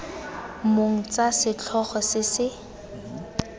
mong tsa setlhogo se se